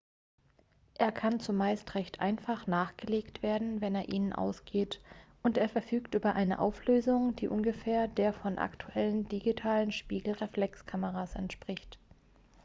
er kann zumeist recht einfach nachgelegt werden wenn er ihnen ausgeht und er verfügt über eine auflösung die ungefähr der von aktuellen digitalen spiegelreflexkameras entspricht